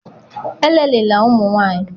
elelịla ụmụ nwanyị!